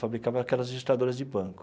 Fabricava aquelas registradoras de banco.